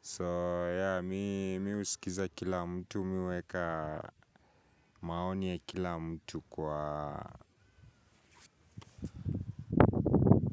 so ya mimi husikiza kila mtu, mimi huweka maoni ya kila mtu kwa.